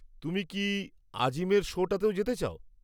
তুমি কি আজিমের শোটাতেও যেতে চাও?